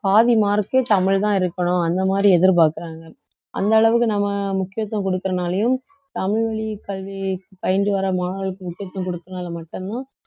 பாதி mark ஏ தமிழ்தான் இருக்கணும் அந்த மாதிரி எதிர்பார்க்கிறாங்க அந்த அளவுக்கு நம்ம முக்கியத்துவம் கொடுக்கிறதுனாலயும் தமிழ் வழி கல்வி பயின்று வர மாணவர்களுக்கு முக்கியத்துவம் கொடுக்கிறதுனால மட்டும்தான்